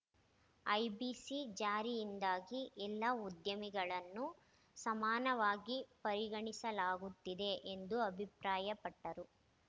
IBC ಜಾರಿಯಿಂದಾಗಿ ಎಲ್ಲಾ ಉದ್ಯಮಿಗಳನ್ನು ಸಮಾನವಾಗಿ ಪರಿಗಣಿಸಲಾಗುತ್ತಿದೆ ಎಂದು ಅಭಿಪ್ರಾಯಪಟ್ಟರು